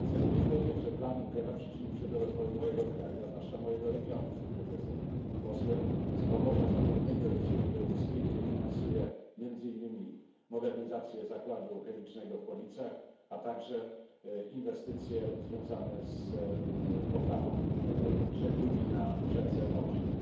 Chcę również powiedzieć, że plan Junckera przyczynił się do rozwoju mojego kraju, a zwłaszcza mojego regionu, z którego jestem posłem z Pomorza Zachodniego i z Ziemi Lubuskiej, gdzie finansuje, między innymi, modernizację zakładu chemicznego w Policach, a także inwestycje związane z poprawą żeglugi na rzece Odrze.